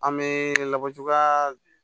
An bɛ labɔ cogoya